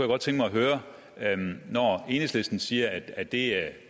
godt tænke mig at høre når enhedslisten siger at det